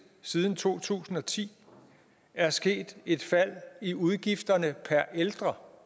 siden to tusind og ti er sket et fald i udgifterne per ældre